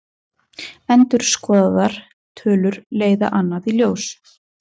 Endurskoðaðar tölur leiða annað í ljós